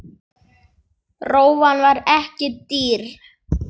Rófan var ekki dýr.